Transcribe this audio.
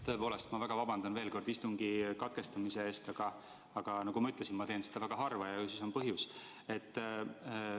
Tõepoolest, ma väga vabandan veel kord istungi katkestamise eest, aga nagu ma ütlesin, teen ma seda väga harva ja ju siis mul on põhjust.